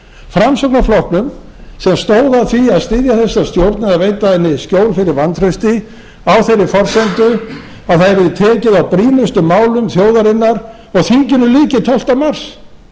framsóknarflokknum sem stóð að því að styðja þessa stjórn eða veita henni skjól fyrir vantrausti á þeirri forsendu að það yrði tekið á brýnustu málum þjóðarinnar og þinginu lyki tólfta mars